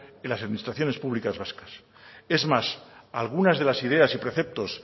en las administraciones públicas vascas es más algunas de las ideas y preceptos